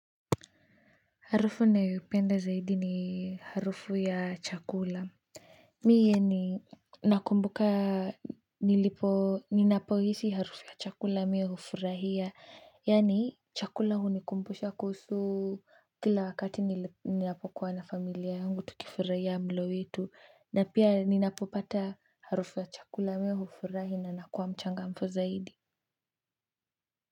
Harufu ninayoipenda zaidi ni harufu ya chakula. Mie ni nakumbuka ninapohisi harufu ya chakula mi hufurahia yaani, chakula hunikumbisha kuhusu kila wakati ninapokuwa na familia yangu tukifurahia mlo wetu. Na pia ninapopata harufu ya chakula mimi hifurahi na nakuwa mchangamfu zaidi.